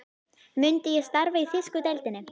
Myndi ég starfa í þýsku deildinni?